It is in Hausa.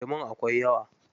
Lemun akwai yawa.